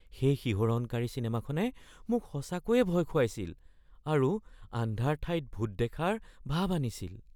সেই শিহৰণকাৰী চিনেমাখনে মোক সঁচাকৈয়ে ভয় খুৱাইছিল আৰু আন্ধাৰ ঠাইত ভূত দেখাৰ ভাব আনিছিল।